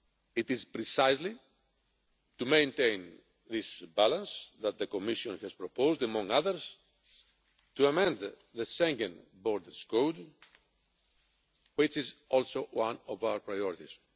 It is precisely to maintain this balance that the Commission has proposed, among others, to amend the Schengen Borders Code, which is also one of our priorities.